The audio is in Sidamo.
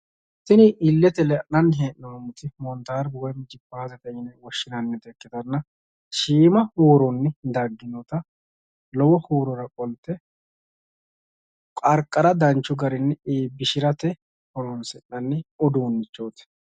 Tini illete la'nanni hee'noommoti montaarbo woy jippaasete yine woshshinannita ikkitanna, shiima huuronni dagginota lowo huurora qolte qarqara danchu garinni iibbishirate horonsi'nanni uduunnichooti.